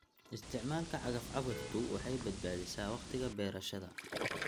Isticmaalka cagaf-cagaftu waxay badbaadisaa wakhtiga beerashada.